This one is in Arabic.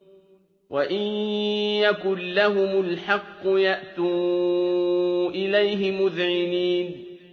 وَإِن يَكُن لَّهُمُ الْحَقُّ يَأْتُوا إِلَيْهِ مُذْعِنِينَ